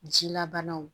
Jilabanaw